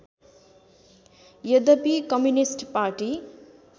यद्यपि communist party